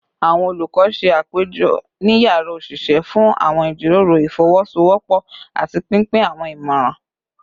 Awọn olukọ ṣe apejọ ni yara oṣiṣẹ fun awọn ijiroro ifowosowopo ati pinpin awọn imọran